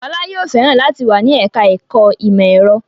Fọlá yóò fẹ́ràn láti wà ní ẹ̀ka-ẹ̀kọ́ ìmọ̀-ẹ̀rọ.